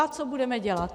A co budeme dělat?